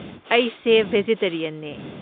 ꯑꯩꯁꯦ ꯕꯦꯖꯤꯇꯦꯔꯤꯌꯟꯅꯦ꯫